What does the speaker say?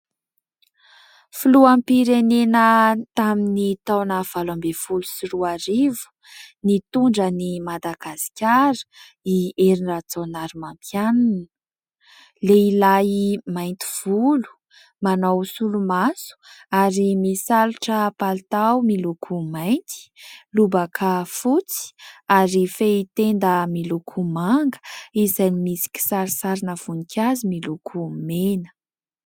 Filoham-pirenena tamin'ny taona valo ambin'ny folo sy roa arivo, nitondra an'i Madagasikara, i Hery Rajaonarimampianina. Lehilahy mainty volo, manao solomaso ; ary misalotra palitao miloko mainty, lobaka fotsy, ary fehitenda miloko manga, izay misy kisarisarina voninkazo miloko mena.